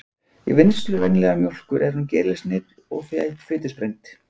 Í vinnslu venjulegrar mjólkur er hún gerilsneydd og fitusprengd.